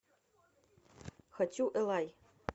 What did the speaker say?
хочу элай